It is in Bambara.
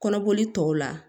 Kɔnɔboli tɔw la